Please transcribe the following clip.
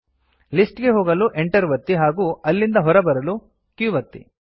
list ಗೆ ಹೋಗಲು Enter ಒತ್ತಿ ಹಾಗೂ ಅಲ್ಲಿಂದ ಹೊರಬರಲು q ಒತ್ತಿ